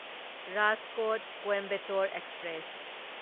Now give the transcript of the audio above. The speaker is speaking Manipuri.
ꯔꯥꯖꯀꯣꯠ ꯀꯣꯢꯝꯕꯦꯇꯣꯔ ꯑꯦꯛꯁꯄ꯭ꯔꯦꯁ